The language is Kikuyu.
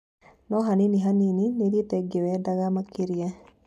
No-hanini hanini, nĩthiĩte ngĩwendaga makĩria."